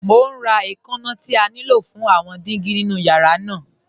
Mọ̀ n rá ẹ̀kànna tí à ní ló fún àwọn dígí nínu yàrá náà.